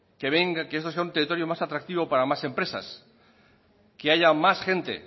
que venga que esto sea un territorio más atractivo para más empresas que haya más gente